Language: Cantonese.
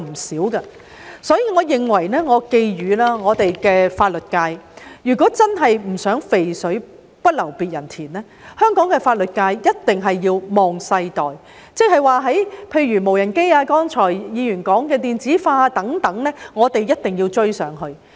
所以，我寄語香港的法律界，如果真的想"肥水不流別人田"，我認為他們一定要"望世代"；例如無人機、議員剛才提到的電子化等，我們一定要追上去。